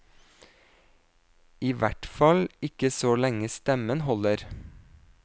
I hvert fall ikke så lenge stemmen holder.